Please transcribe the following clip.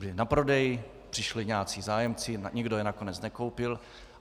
Byla na prodej, přišli nějací zájemci, nikdo je nakonec nekoupil.